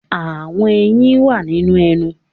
Àwọn eyín wà nínú ẹnu.